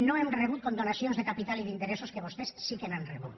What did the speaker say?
no hem rebut condonacions de capital i d’interessos que vostès sí que n’han rebut